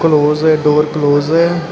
ਡੋਰ close ਹੈ।